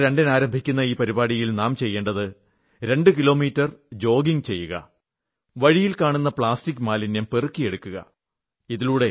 October 2 ന് ആരംഭിക്കുന്ന ഈ പരിപാടിയിൽ നാം ചെയ്യേണ്ടത് രണ്ടു കിലോമീറ്റർ ജോഗിംഗ് ചെയ്യുക വഴിയിൽ കാണുന്ന പ്ലാസ്റ്റിക് മാലിന്യം പെറുക്കിയെടുക്കുക